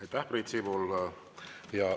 Aitäh, Priit Sibul!